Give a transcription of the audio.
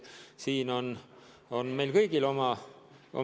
Siin on meil kõigil oma sõna öelda.